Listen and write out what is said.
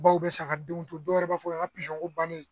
Baw bɛ saga denw to dɔw yɛrɛ b'a fɔ pizɔn ko bannen